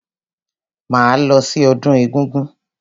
Máa lọ sí ọdún egúngún.